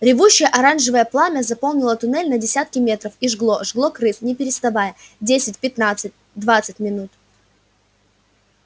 ревущее оранжевое пламя заполнило туннель на десятки метров и жгло жгло крыс не переставая десять пятнадцать двадцать минут